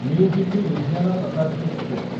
new Delhi Ludhiana Shatabdi express